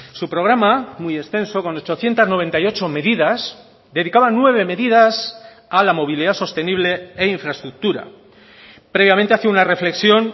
su programa muy extenso con ochocientos noventa y ocho medidas dedicaba nueve medidas a la movilidad sostenible e infraestructura previamente hace una reflexión